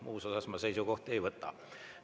Muus osas ma seisukohta ei võta.